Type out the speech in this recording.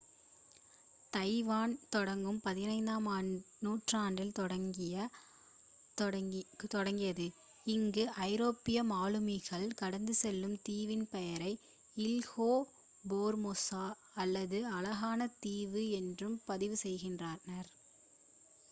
Taiwan தொடக்கம் 15-ஆம் நூற்றாண்டில் தொடங்கியது அங்கு ஐரோப்பிய மாலுமிகள் கடந்து செல்லும் தீவின் பெயரை இல்ஹா ஃபோர்மோசா அல்லது அழகான தீவு என்று பதிவு செய்கின்றனர்